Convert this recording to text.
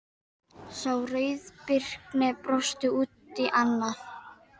Sá rauðbirkni brosti út í annað.